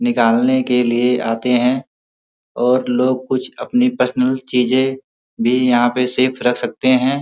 निकालने के लिए आते हैं और लोग कुछ अपनी पर्सनल चीजे भी यहाँ पर सेफ रख सकते हैं।